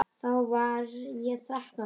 Þá var ég þrettán ára.